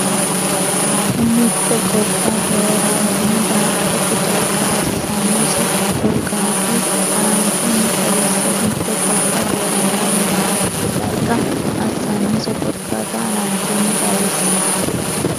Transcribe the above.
Mitte gobba doorantino daa”atate darga assannose korkaata haran- chunni xawisse Mitte gobba doorantino daa”atate darga assannose korkaata haran- chunni xawisse.